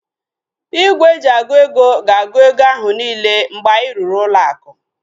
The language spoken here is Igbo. Igwe eji agụ ego gs-agu ego ahu niile mgbe anyị rụrụ ụlọ aku